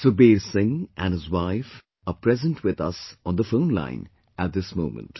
Sukhbir Singh and his wife are present with us on the phone line at this moment